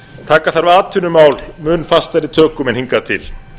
taka þarf atvinnumál mun fastari tökum en hingað til